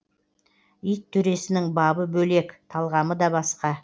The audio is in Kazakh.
ит төресінің бабы да бөлек талғамы да басқа